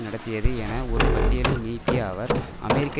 நடத்தியது என ஒரு பட்டியலை நீட்டிய அவர் அமெரிக்கா